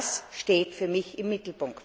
Das steht für mich im Mittelpunkt.